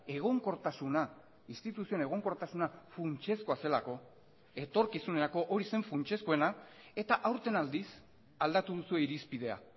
egonkortasuna instituzioen egonkortasuna funtsezkoa zelako etorkizunerako hori zen funtsezkoena eta aurten aldiz aldatu duzue irizpidea